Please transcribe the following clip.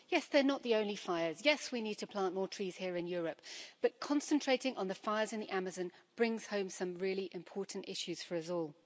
Yes, they're not the only fires, yes, we need to plant more trees here in Europe, but concentrating on the fires in the Amazon brings home some really important issues for us all.